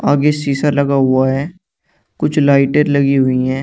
आगे शीशा लगा हुआ है कुछ लाइटें लगी हुई है।